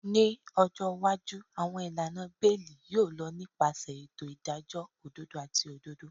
Ni ọjọ iwaju, awọn ilana beeli yoo lọ nipasẹ eto idajọ ododo ati ododo.